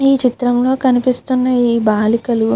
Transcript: ఈ చిత్రం లో కనిపిస్తున ఈ బాలికలు --